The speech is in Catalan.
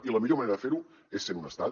i la millor manera de ferho és sent un estat